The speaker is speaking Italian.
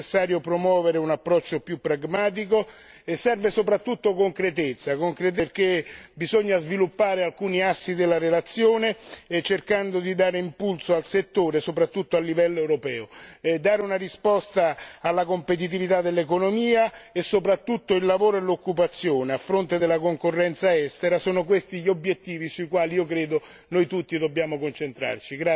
È necessario promuovere un approccio più pragmatico e serve soprattutto concretezza, perché bisogna sviluppare alcuni assi della relazione, cercando di dare impulso al settore soprattutto a livello europeo. Dare una risposta alla competitività dell'economia e soprattutto il lavoro e l'occupazione a fronte della concorrenza estera sono questi gli obiettivi sui quali credo che noi tutti dobbiamo concentrarci.